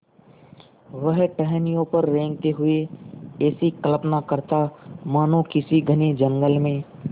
वह टहनियों पर रेंगते हुए ऐसी कल्पना करता मानो किसी घने जंगल में